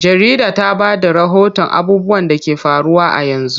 Jarida ta ba da rahoton abubuwan da ke faruwa a yanzu.